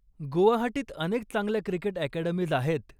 गुवाहाटीत अनेक चांगल्या cricket academies आहेत.